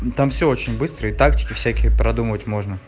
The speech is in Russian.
там все очень быстро и тактики всяких продумывать можно